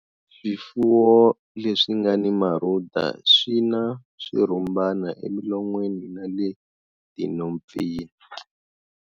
Swifuwo leswi nga na marhuda swi na swirhumbana emilon'wini na le tinhompfini.